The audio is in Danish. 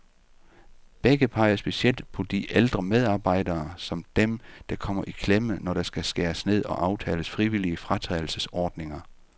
Begge peger specielt på de ældre medarbejdere, som dem, der kommer i klemme, når der skal skæres ned og aftales frivillige fratrædelsesordninger.